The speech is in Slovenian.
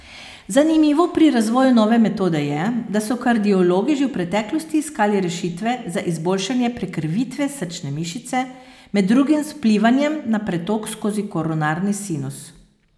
Zanimivo pri razvoju nove metode je, da so kardiologi že v preteklosti iskali rešitve za izboljšanje prekrvitve srčne mišice, med drugim z vplivanjem na pretok skozi koronarni sinus.